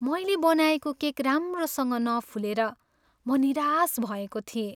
मैले बनाएको केक राम्रोसँग नफुलेर म निराश भएको थिएँ।